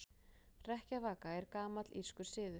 Hrekkjavaka er gamall írskur siður.